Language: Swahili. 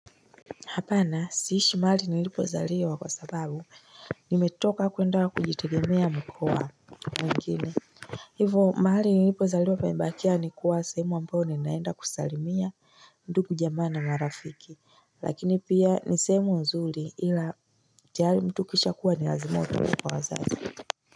Hapana siishi mahali nilipozaliwa kwa sababu nimetoka kwenda kujitegemea mkoa mwingine. Hivo mahali nilipozaliwa paimbakia ni kuwa semu ambayo ninaenda kusalimia ndugu jamana marafiki lakini pia nisemu nzuli ila tiari mtu kisha kuwa ni razimoto kwa wazazi.